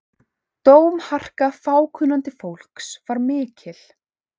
Dómharka fákunnandi fólks var mikil.